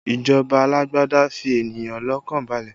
Ìjọba alágbádá fi ènìyàn lọ́kàn balẹ̀